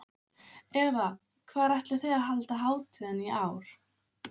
Eva, hvar ætlið þið að halda hátíðina í ár?